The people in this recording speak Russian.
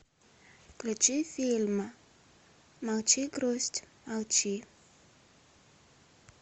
включи фильм молчи грусть молчи